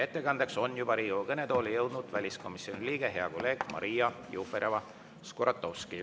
Ettekandjaks on juba Riigikogu kõnetooli jõudnud väliskomisjoni liige, hea kolleeg Maria Jufereva-Skuratovski.